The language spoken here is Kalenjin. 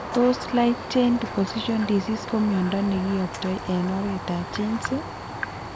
Tos light chain deposition disease ko miondop nekiyoptoi eng' oretab genes?